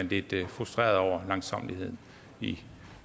lidt frustreret over langsommeligheden i